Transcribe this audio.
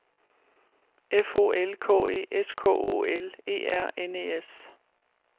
F O L K E S K O L E R N E S